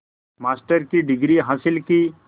master की degree हासिल की